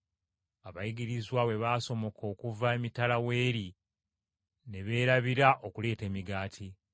Abayigirizwa bwe baasomoka okuva emitala w’eri ne beerabira okuleeta emigaati.